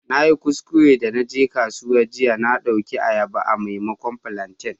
Na yi kuskure de na je kasuwa jiya, na dauki ayaba a'maimakon plantain.